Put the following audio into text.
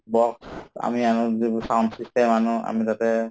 box আমি আমাৰ যিবোৰ sound system আনো আমি তাতে